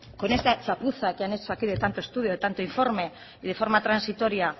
con esta chapuza que han hecho aquí de tanto estudio de tanto informe y de forma transitoria